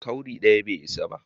Cowry daya bai isa ba.